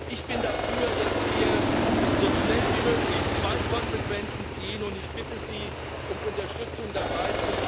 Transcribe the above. Ich bin dafür, dass wir so schnell wie möglich zwei Konsequenzen ziehen, und ich bitte Sie um Unterstützung dabei.